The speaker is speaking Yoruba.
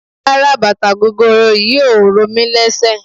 Rárá bàtà gogoro yìí ò ro mí lésè.